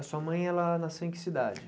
A sua mãe, ela nasceu em que cidade?